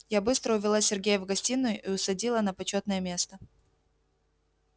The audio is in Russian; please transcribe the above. я быстро увела сергея в гостиную и усадила на почётное место